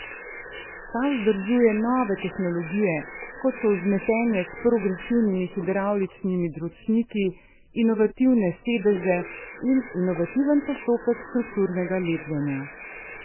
Ta združuje nove tehnologije, kot so vzmetenje s progresivnimi hidravličnimi dročniki, inovativne sedeže in inovativen postopek strukturnega lepljenja.